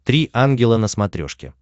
три ангела на смотрешке